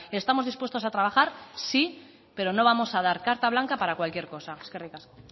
estamos dispuestos a trabajar sí pero no vamos a dar carta blanca para cualquier cosa eskerrik asko